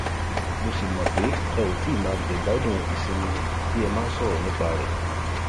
mo sì mọ pé ẹ ò ti máa jẹgbádùn ìsinmi tí ẹ máa ń sọrọ nípa rẹ